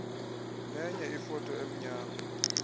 nenye ifoto emnyama